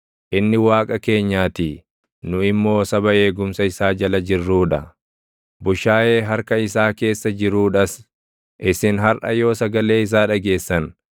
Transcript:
inni Waaqa keenyaatii; nu immoo saba eegumsa isaa jala jirruu dha; bushaayee harka isaa keessa jiruudhas. Isin harʼa yoo sagalee isaa dhageessan,